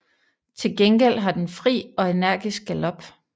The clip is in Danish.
Til gengæld har den fri og energisk galop